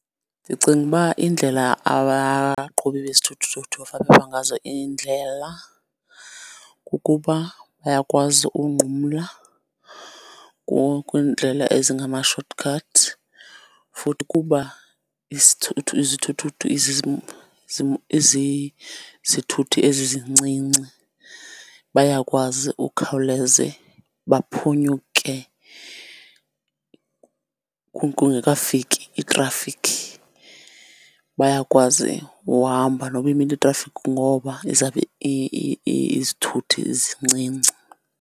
Ndicinga uba indlela abaqhubi bezithuthuthu ngazo iindlela kukuba bayakwazi unqumla kwiindlela ezingama-short cuts, futhi kuba izithuthuthu izizithuthi ezizincinci bayakwazi ukukhawuleze baphunyuke kungekafiki itrafikhi. Bayakwazi uhamba noba imile itrafiki ngoba ezabo izithuthi zincinci.